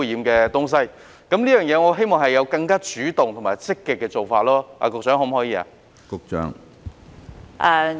我希望政府會有更主動和積極的做法，局長，可以嗎？